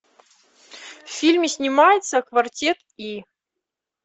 в фильме снимается квартет и